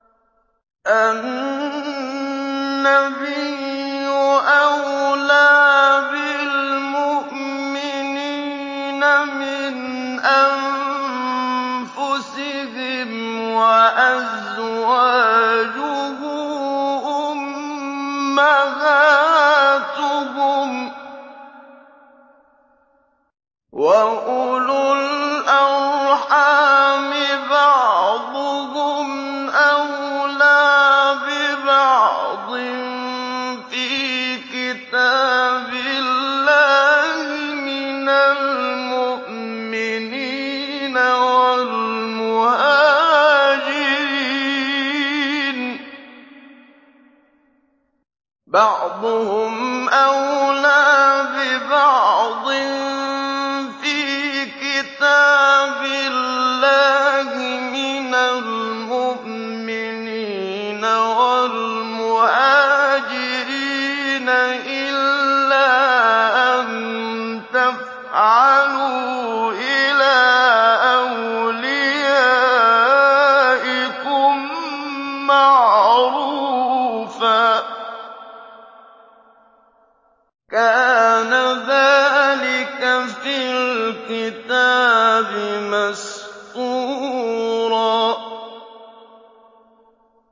النَّبِيُّ أَوْلَىٰ بِالْمُؤْمِنِينَ مِنْ أَنفُسِهِمْ ۖ وَأَزْوَاجُهُ أُمَّهَاتُهُمْ ۗ وَأُولُو الْأَرْحَامِ بَعْضُهُمْ أَوْلَىٰ بِبَعْضٍ فِي كِتَابِ اللَّهِ مِنَ الْمُؤْمِنِينَ وَالْمُهَاجِرِينَ إِلَّا أَن تَفْعَلُوا إِلَىٰ أَوْلِيَائِكُم مَّعْرُوفًا ۚ كَانَ ذَٰلِكَ فِي الْكِتَابِ مَسْطُورًا